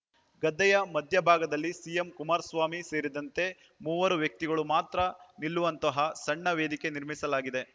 ಗದ್ದೆಯ ಮಧ್ಯಭಾಗದಲ್ಲಿ ಸಿಎಂ ಕುಮಾರಸ್ವಾಮಿ ಸೇರಿದಂತೆ ಮೂವರು ವ್ಯಕ್ತಿಗಳು ಮಾತ್ರ ನಿಲ್ಲುವಂತಹ ಸಣ್ಣ ವೇದಿಕೆ ನಿರ್ಮಿಸಲಾಗಿದೆ